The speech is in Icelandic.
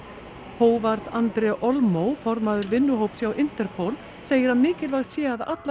håvard Andre Aalmo formaður vinnuhóps hjá Interpol segir að mikilvægt sé að allar